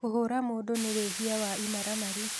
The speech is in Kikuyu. Kũhũra mũndũ nĩ wĩhĩa wa ĩmaramari